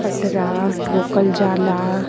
पटरा ठोकल जाला।